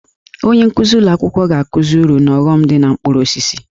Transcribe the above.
Onye nkuzi ụlọ akwụkwọ ga-akụzi uru na ọghọm dị na mkpụrụ osisi